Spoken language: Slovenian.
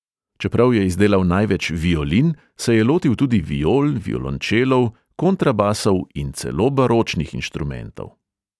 Čeprav je izdelal največ violin, se je lotil tudi viol, violončelov, kontrabasov in celo baročnih inštrumentov.